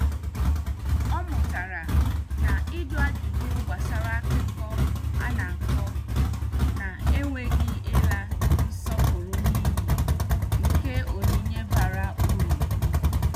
Ọ mụtara na ịjụ ajụjụ gbasara akụkọ ana- akọ na-enweghị ịla nsọpụrụ n' iyi nke onyinye bara uru.